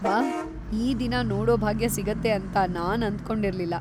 ವಾಹ್, ಈ ದಿನ ನೋಡೋ ಭಾಗ್ಯ ಸಿಗತ್ತೆ ಅಂತ ನಾನ್‌ ಅಂದ್ಕೊಂಡಿರ್ಲಿಲ್ಲ.